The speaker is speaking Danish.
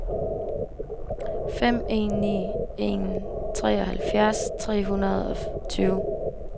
fem en ni en treoghalvfjerds tre hundrede og tyve